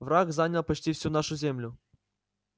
враг занял почти всю нашу землю